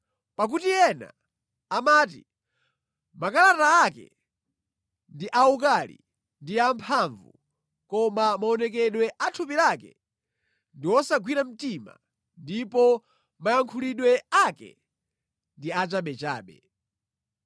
Pakuti ena amati, “Makalata ake ndi awukali ndi amphamvu koma maonekedwe a thupi lake ndi wosagwira mtima ndipo mayankhulidwe ake ndi achabechabe.”